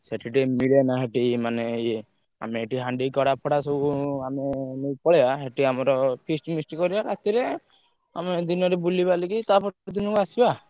ସେଠି ଟିକେ ମିଳିବନା ସେଠି ମାନେ ଇଏ ଆମେ ଏଠୁ ହାଣ୍ଡି, କଡା ଫଡା ସବୁ ଆମେ ନେଇ ପଳେଇବା, ସେଠି ଆମର feast ମିଷ୍ଟ କରିଆ ରାତିରେ, ଆମେ ଦିନରେ ବୁଲିବାଲିକି ତା ପର ଦିନକୁ ଆସିବା।